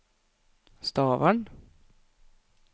Stavern